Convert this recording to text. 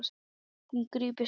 Hún grípur símann.